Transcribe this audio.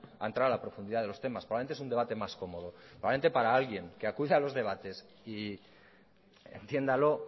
a entrar a la profundidad de los temas probablemente es un debate más cómodo probablemente para alguien que acude a los debates y entiéndalo